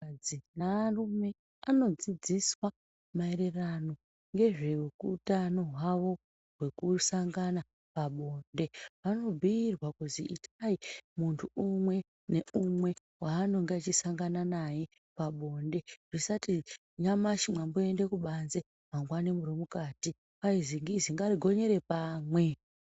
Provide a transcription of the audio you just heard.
Anhukadzi nearume anodzidziswa maererano ngezveutano hwavo hwekusangana pabonde. Vanobhuirwa kuzi itai muntu umwe neumwe waanonga echisangana naye pabonde, zvisati nyamashi mwamboende kubanze mangwani murimukati. Kwai zingizi ngarigonyere pamwe.